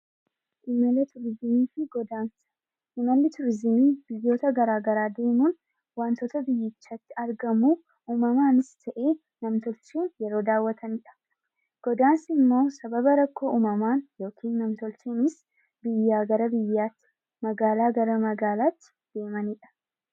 Imala turizimii xiqqoodha. Imalli turizimii biyyoota garaagaraa wantoota biyyichatti argamu uumamanis ta'e man-tolchee ta'edha. Kunimmoo sababa rakkoo uumamaan yookaan nam-tolcheen biyyaa gara biyyaatti magaalaa gara magaalaatti adeemanidha.